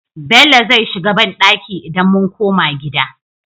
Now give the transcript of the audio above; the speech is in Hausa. Bello zai shiga banɗaki idan mun koma gida